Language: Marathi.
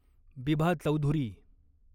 बिभा चौधुरी